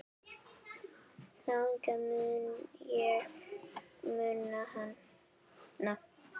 Þannig mun ég muna hana.